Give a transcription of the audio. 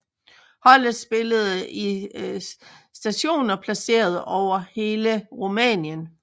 Holdet spiller i stadioner placeret over hele Rumænien